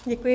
Děkuji.